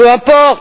Peu importe.